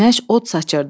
Günəş od saçırdı.